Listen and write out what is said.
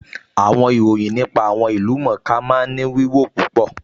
Àwọn ìròyìn nípa àwọn ìlú-mọ̀-ọ́n-ká máa ń ní wíwò tó pọ̀